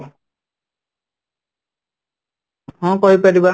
ହଁ ,କହିପାରିବା